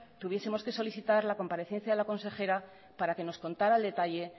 tuviesemos que solicitar la comparecencia de la consejera para que nos contara en detalle